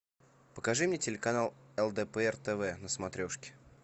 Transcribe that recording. покажи мне телеканал лдпр тв на смотрешке